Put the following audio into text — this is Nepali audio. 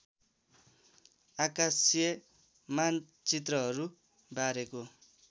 आकाशीय मानचित्रहरू बारेको